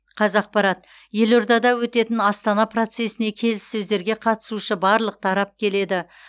қазақпарат елордада өтетін астана процесіне келіссөздерге қатысушы барлық тарап келеді